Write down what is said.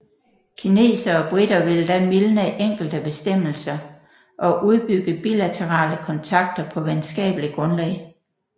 Kinesere og briter ville da mildne enkelte bestemmelser og udbygge bilaterale kontakter på venskapelig grundlag